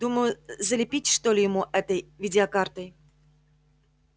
думаю залепить что ли ему этой видеокартой